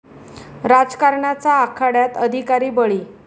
राजकारणाचा आखाड्यात 'अधिकारी' बळी!